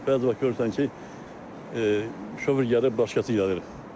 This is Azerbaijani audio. Bəzi vaxt görürsən ki, şofer gəlib başqası gəlir.